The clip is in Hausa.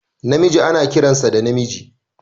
Namiji ana kiransa da namiji